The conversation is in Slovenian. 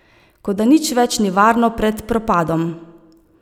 Kot da nič več ni varno pred propadom.